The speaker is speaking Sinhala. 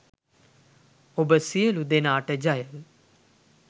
ඔබ සියලු දෙනාට ජය